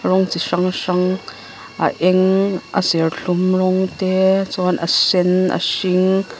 rawng chi hrang hrang a eng a serthlum rawng te chuan a sen a hring.